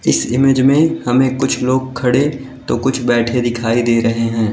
इस इमेज में हमें कुछ लोग खड़े तो कुछ बैठे दिखाई दे रहे हैं।